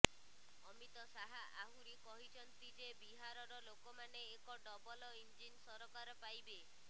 ଅମିତ ଶାହା ଆହୁରି କହିଛନ୍ତି ଯେ ବିହାରର ଲୋକମାନେ ଏକ ଡବଲ ଇଞ୍ଜିନ ସରକାର ପାଇବେ